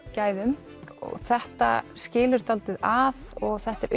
gæðum þetta skilur dálítið að og þetta er